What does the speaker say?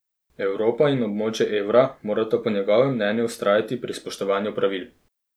Evropa in območje evra morata po njegovem mnenju vztrajati pri spoštovanju pravil.